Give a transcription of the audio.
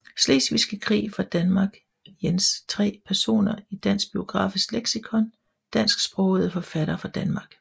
Slesvigske Krig fra Danmark Jens 3 Personer i Dansk Biografisk Leksikon Dansksprogede forfattere fra Danmark